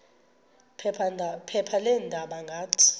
phepha leendaba ngathi